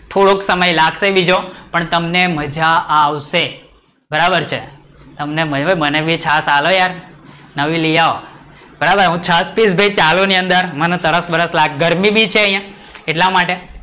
થોડોક સમય લાગશે બીજો પણ તમને મજા આવશે, બરાબર છે, તમને નાઈ મને તો છાસ આપો યાર, નવી લઈ આવો, બરાબર છે હું છાસ પીસ ચાલુ ની અંદર મને તરસ બરસ લાગે તો ગરમી પણ છે